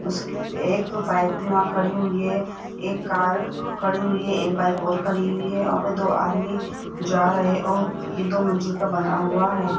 उसकी एक तो बाइक भी वहां खड़ी हुई है एक कार खड़ी हुई है एक बाइक और खड़ी हुई है वहां पे दो आदमी जा रहे है और ये दो मंजिल का बना हुआ है।